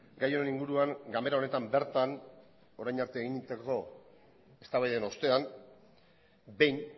gai honen inguruan ganbera honetan bertan orain arte eginiko eztabaiden ostean behin